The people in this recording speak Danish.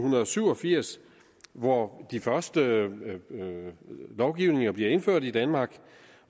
syv og firs hvor de første lovgivninger blev indført i danmark